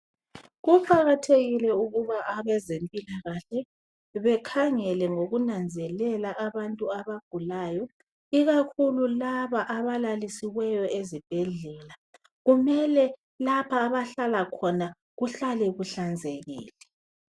Kuqakathekile ukuba abazempilakahle bakhangele ngokunanzelela abantu abagulayo ikakhulu laba abalalisiweyo ezibhedlela. Kumele lapha abahlala khona kuhlale kuhlanzekile.